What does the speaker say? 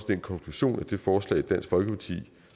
den konklusion at det forslag som dansk folkeparti